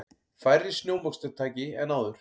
Færri snjómoksturstæki en áður